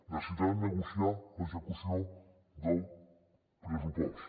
necessitarà negociar l’execució del pressupost